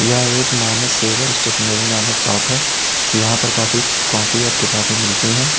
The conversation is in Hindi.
यह एक मान सेवर स्टेशनरी नामक शॉप है यहां पर काफी कॉपी और किताबें मिलती हैं।